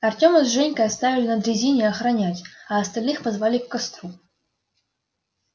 артема с женькой оставили на дрезине охранять а остальных позвали к костру